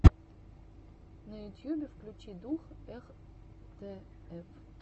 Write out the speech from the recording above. на ютьюбе включи дум хтф